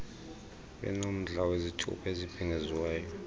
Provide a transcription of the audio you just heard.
benomdla kwizithuba ezibhengeziweyo